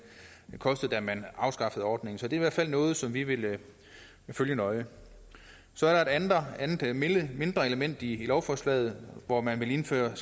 kostede da man afskaffede ordningen så det er i hvert fald noget som vi vil følge nøje så er der et andet mindre element i lovforslaget hvor man vil indføre